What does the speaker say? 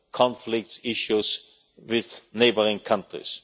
bilateral conflicts and issues with neighbouring countries.